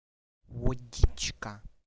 водичка